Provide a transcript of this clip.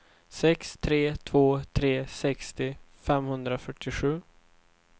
sex tre två tre sextio femhundrafyrtiosju